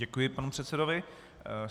Děkuji panu předsedovi.